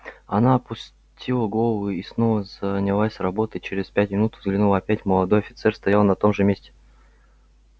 она опустила голову и снова занялась работой через пять минут взглянула опять молодой офицер стоял на том же месте